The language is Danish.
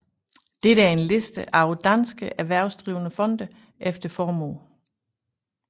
Dette er en liste over danske erhvervsdrivende fonde efter formue